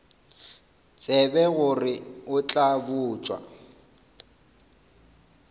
tsebe gore o tla botša